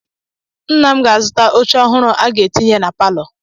Nna m ga-azụta oche ọhụrụ ọ ga-etinye na palọ.